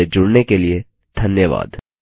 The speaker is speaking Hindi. हमसे जुड़ने के लिए धन्यवाद